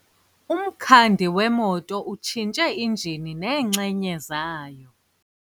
Umkhandi wemoto utshintshe injini neenxenye zayo.